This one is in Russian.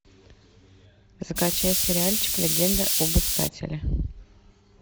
скачай сериальчик легенда об искателе